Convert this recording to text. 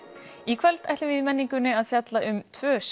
í kvöld ætlum við í menningunni að fjalla um tvö